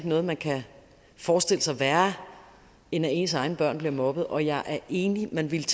noget man kan forestille sig værre end at ens egne børn bliver mobbet og jeg er enig man ville